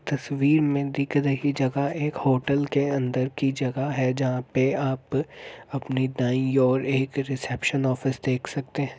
तस्वीर में दिख रही जगह एक होटल के अंदर की जगह है जहाँ पे आप अपने दाई ओर एक रिसेप्शन ऑफिस देख सकते हैं ।